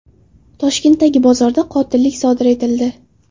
Toshkentdagi bozorda qotillik sodir etildi.